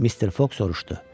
Mister Foq soruşdu: